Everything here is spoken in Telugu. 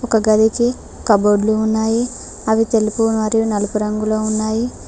ఒక గదికి కబోర్డ్ లు ఉన్నాయి అవి తెలుగు మరియు నలుగు రంగులో ఉన్నాయి.